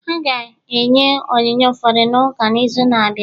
Ọ ga-enye onyinye ụfọdụ n'ụka n'izu na-abịa